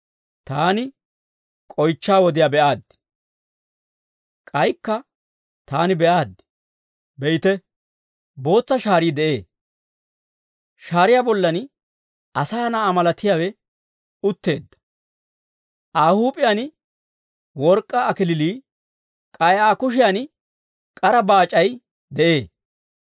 K'aykka taani be'aaddi. Be'ite, bootsa shaarii de'ee. Shaariyaa bollan Asaa Na'aa malatiyaawe utteedda; Aa huup'iyaan work'k'aa kalachchay, k'ay Aa kushiyan k'ara baac'ay de'ee.